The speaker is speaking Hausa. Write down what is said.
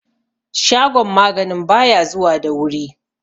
shagon maganin ba ya zuwa da wuri